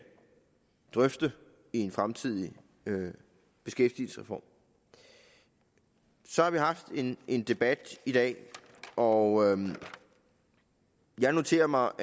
drøfte i en fremtidig beskæftigelsesreform så har vi haft en en debat i dag og jeg noterer mig